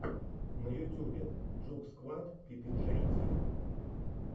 на ютубе джугсквад пи пи джей ти